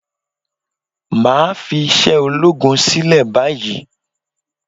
Máà fi iṣẹ́ ológun sílẹ̀ báyìí